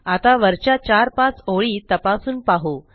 आता वरच्या चार पाच ओळी तपासून पाहू